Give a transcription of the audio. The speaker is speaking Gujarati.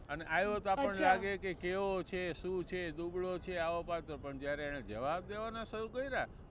અને આવ્યો તો આપણને લાગે કે કેવો છે, શું છે, દુબળો છે આવો પાતળો પણ જયારે એને જવાબ દેવાના શુરુ કર્યા ને